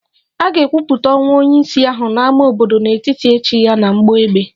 A ga-ekwupụta ọnwụ onye isi ahụ n'ámá obodo n'ụtụtụ echi ya na mgbọ egbe